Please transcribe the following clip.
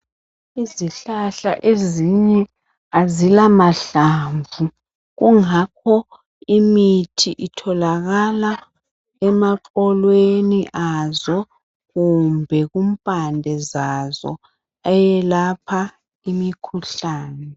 Izihlahla ezinye azilamahlamvu kungakho imithi itholakala emaxolweni azo kumbe kumpande zazo eyelapha imikhuhlane